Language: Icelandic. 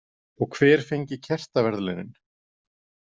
Og hver fengi kertaverðlaunin.